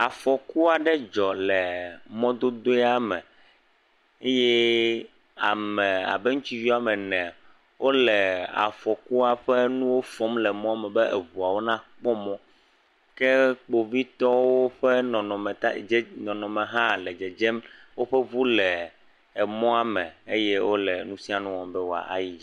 Afɔku aɖe dzɔ le mɔdodoea me. Eye ame abe ŋutsuvi woame ene wole afɔkua ƒe nuwo fɔm le mɔme be eŋuwo nakpɔ mɔ. Ke Kpovitɔwo ƒe nɔnɔmeta, dze nɔnɔme hã le dzedzem. Woƒe ŋu le emɔme eye wole nu sia nu wɔm be enu wòayi.